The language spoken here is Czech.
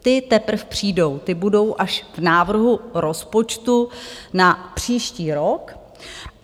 Ty teprv přijdou, ty budou až v návrhu rozpočtu na příští rok.